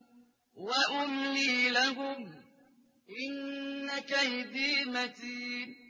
وَأُمْلِي لَهُمْ ۚ إِنَّ كَيْدِي مَتِينٌ